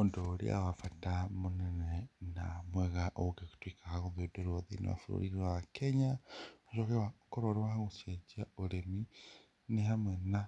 Ũndũ ũrĩa wa bata mũnene na mwega ũngĩtuĩka wa gũthundũrwo thĩiniĩ wa bũrũri wa Kenya nĩ ũrĩa wa gũkorwo wa gũcenjia ũrĩmi nĩ hamwe na